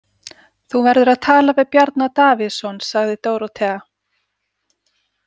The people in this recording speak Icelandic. Þú verður að tala við Bjarna Davíðsson, sagði Dórótea.